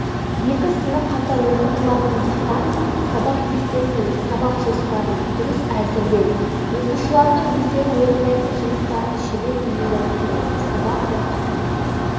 екі сынып қатар оқытылатындықтан сабақ кестесін сабақ жоспарын дұрыс әзірлеу оқушылардың өздері орындайтын жұмыстарын шебер ұйымдастыру сабақ уақытын